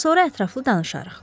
Ondan sonra ətraflı danışarıq.